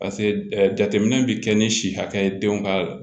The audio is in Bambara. pase ɛ jateminɛ be kɛ ni si hakɛ ye denw ka